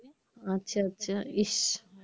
আচ্ছা আচ্ছা ইস